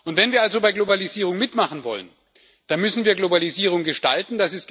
Wenn wir also bei Globalisierung mitmachen wollen, dann müssen wir Globalisierung gestalten.